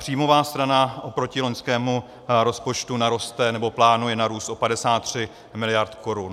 Příjmová strana oproti loňskému rozpočtu naroste, nebo plánuje narůst o 53 mld. korun.